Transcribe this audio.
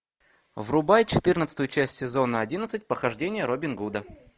врубай четырнадцатую часть сезона одиннадцать похождения робин гуда